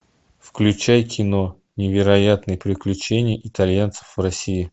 включай кино невероятные приключения итальянцев в россии